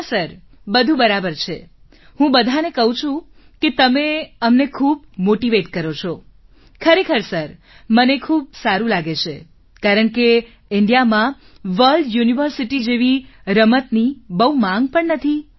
હા સર બધુ બરાબર છે હું બધાને કહું છું કે તમે અમને ખૂબ મોટીવેટ કરો છો ખરેખર સર મને ખૂબ સારું લાગે છે કારણ કે Indiaમાં વર્લ્ડ યુનિવર્સિટી જેવી રમતની બહુ માંગ પણ નથી